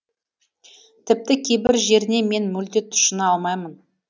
тіпті кейбір жеріне мен мүлде тұщына алмаймын